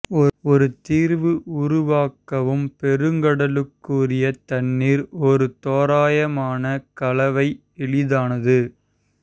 ஒரு தீர்வு உருவாக்கவும் பெருங்கடலுக்குரிய தண்ணீர் ஒரு தோராயமான கலவை எளிதானது